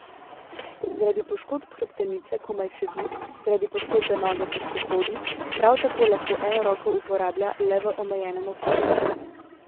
Zaradi poškodb hrbtenice komaj sedi, zaradi poškodbe noge težko hodi, prav tako lahko eno roko uporablja le v omejenem obsegu.